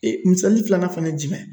Ee misali filanan fana ye jumɛn